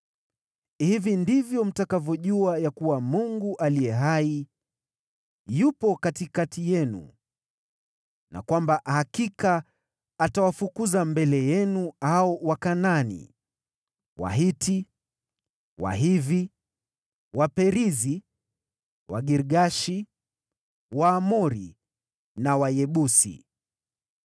Hivi ndivyo mtakavyojua ya kuwa Mungu aliye hai yupo katikati yenu, na kwamba kwa hakika atawafukuza mbele yenu hao Wakanaani, Wahiti, Wahivi, Waperizi, Wagirgashi, Waamori na Wayebusi.